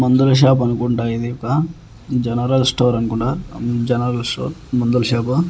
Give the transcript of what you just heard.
మందుల షాప్ అనుకుంటా ఇది ఒక జనరల్ స్టోర్ అనుకుంటా జనరల్ స్టోర్ మందుల షాపు .